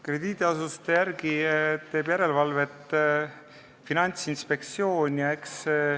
Krediidiasutuste järele valvab Finantsinspektsioon.